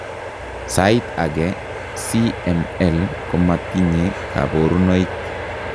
Saait age CML komatinye kaborunoik